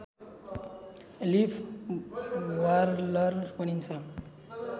leaf warbler भनिन्छ